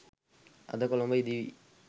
අද කොළඹ ඉදිවී